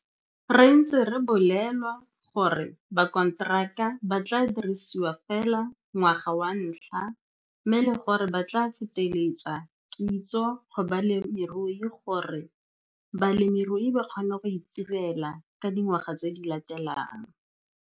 Re ntse re bolelwa gore bakonteraka ba tlaa dirisiwa feela ngwaga wa ntlha mme le gore ba tlaa feteletsa kitso go balemirui gore balemirui ba kgone go itirela ka dingwaga tse di latelang.